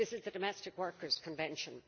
This is the Domestic Workers' Convention.